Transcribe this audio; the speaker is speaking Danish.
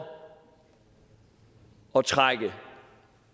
at trække